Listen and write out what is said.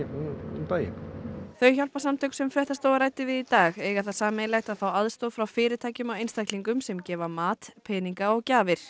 um daginn þau hjálparsamtök sem fréttastofa ræddi við í dag eiga það sameiginlegt að fá aðstoð frá fyrirtækjum og einstaklingum sem gefa mat peninga og gjafir